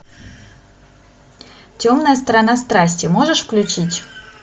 темная сторона страсти можешь включить